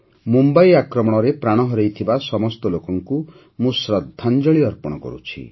ମୁମ୍ବାଇ ଆକ୍ରମଣରେ ପ୍ରାଣ ହରାଇଥିବା ସମସ୍ତ ଲୋକଙ୍କୁ ମୁଁ ଶ୍ରଦ୍ଧାଞ୍ଜଳି ଅର୍ପଣ କରୁଛି